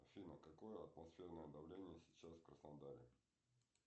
афина какое атмосферное давление сейчас в краснодаре